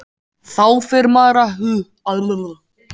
Þá fer maður að hugsa Af hverju?